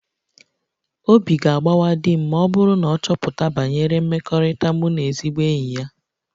Obi ga-agbawa di m ma ọ bụrụ na ọ chọpụta banyere mmekọrịta mụ na ezigbo enyi ya